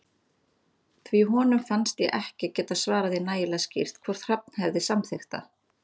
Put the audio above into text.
Því honum fannst ég ekki geta svarað því nægilega skýrt hvort Hrafn hefði samþykkt það.